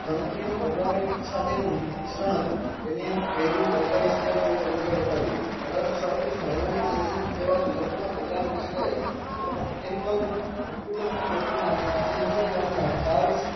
ગણતરીનું programming સાથેનું મિશ્રણ હતું તેને પેહલું ઓળખાવી શકાય તેવું કમ્પ્યુટર બતાવ્યું અઢારસો સાડત્રીસ માં engine કહેવાતું સંપૂર્ણ program કરી શકાય એવા મીકેનીકલ કમ્પ્યુટર ની કલ્પના